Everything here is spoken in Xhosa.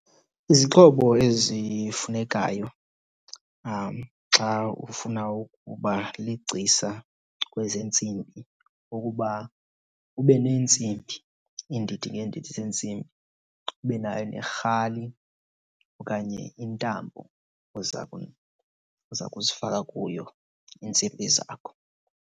Izixhobo ezifunekayo xa ufuna ukuba ligcisa kwezeentsimbi kukuba ube neentsimbi iindidi ngeendidi zentsimbi, ube nayo nerhali okanye intambo oza , oza kuzifaka kuyo iintsimbi zakho.